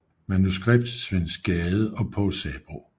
Manuskript Svend Gade og Povl Sabroe